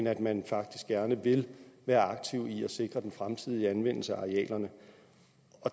af at man faktisk gerne vil være aktiv i at sikre den fremtidige anvendelse af arealerne